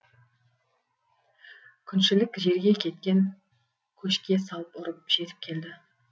күншілік жерге кеткен көшке салып ұрып жетіп келді